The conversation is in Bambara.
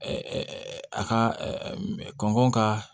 a ka kɔngɔ ka